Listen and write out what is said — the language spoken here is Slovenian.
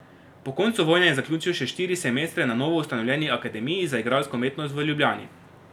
Po koncu vojne je zaključil še štiri semestre na novo ustanovljeni Akademiji za igralsko umetnost v Ljubljani.